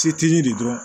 Setigi de dɔrɔn